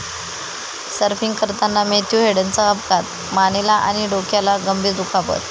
surfing करताना Matthew हेडनचा अपघात, मानेला आणि डोक्याला गंभीर दुखापत